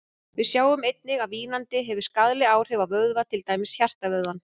Við sjáum einnig að vínandi hefur skaðleg áhrif á vöðva, til dæmis hjartavöðvann.